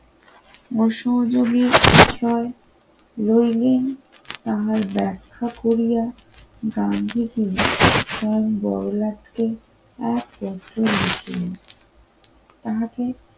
ও সহযোগী বিষয় লোইনিং তাহার ব্যাখ্যা করিয়া গান্ধীকে তার বড়লাটকে এক বছর। তাকে